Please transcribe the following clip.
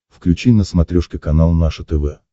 включи на смотрешке канал наше тв